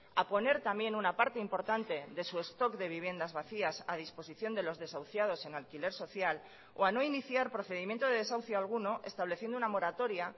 a poner también una parte importante de su stock de viviendas vacías a disposición de los desahuciados en alquiler social o a no iniciar procedimiento de desahucio alguno estableciendo una moratoria